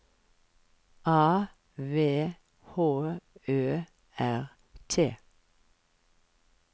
A V H Ø R T